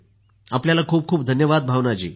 आपल्याला खूप खूप धन्यवाद भावना जी